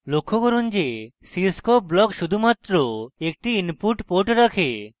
লক্ষ্য করুন যে cscope block শুধুমাত্র একটি input port রাখে